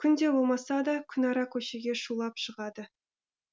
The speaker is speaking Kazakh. күнде болмаса да күнара көшеге шулап шығады